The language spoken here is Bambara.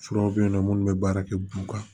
Furaw bɛ yen nɔ minnu bɛ baara kɛ buru kan